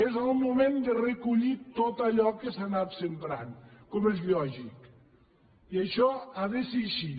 és el moment de recollir tot allò que s’ha anat sembrant com és lògic i això ha de ser així